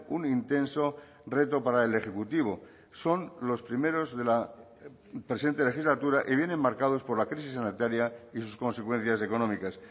un intenso reto para el ejecutivo son los primeros de la presente legislatura y vienen marcados por la crisis sanitaria y sus consecuencias económicas